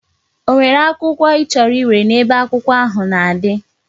O nwere akwukwo ichoro iwere na ebe akwụkwọ ha na adi?